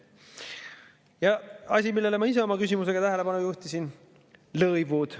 Ja asi, millele ma ise oma küsimusega tähelepanu juhtisin: lõivud.